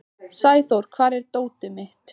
Sæþór, hvar er dótið mitt?